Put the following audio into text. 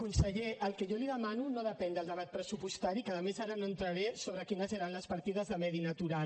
conseller el que jo li demano no depèn del debat pressupostari que a més ara no entraré sobre quines eren les partides de medi natural